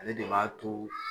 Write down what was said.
Ale de b'a to